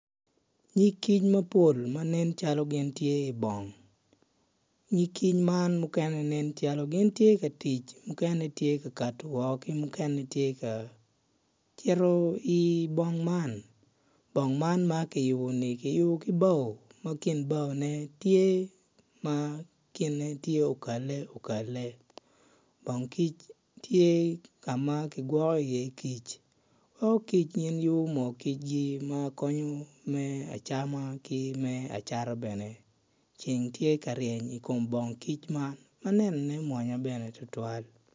Nyig kic mapol ma nen calo gitye i bong nyig kic mukene nen gitye ka tic mukene gitye ka kati woko ki mukene gitye ka cito i bong man bong man ma kiyubo-ni kiyubo ki bao ma kin baone tye kine tye ma okale okale. Bong kic tye ka ma kigwoko iye kic weko kic yubo moogi ma konyo me acama ki me cata bene ceng tye ka reny i kom bong kic man ma nenone mwonya bene tutwal.